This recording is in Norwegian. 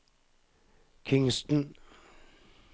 Kingstown